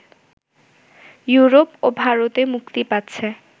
Europe ও ভারতে মুক্তি পাচ্ছে